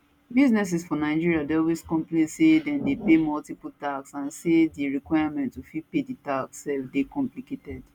businesses for nigeria dey always complain say dem dey pay multiple tax and say di requirements to fit pay di tax sef dey complicated